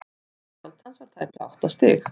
stærð skjálftans var tæplega átta stig